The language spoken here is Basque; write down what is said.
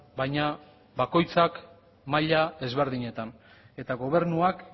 baina bakoitzak maila ezberdinetan eta gobernuak